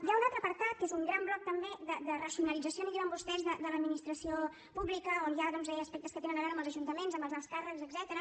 hi ha un altre apartat que és un gran bloc també de racionalització en diuen vostès de l’administració pública on hi ha doncs aspectes que tenen a veure amb els ajuntaments amb els alts càrrecs etcètera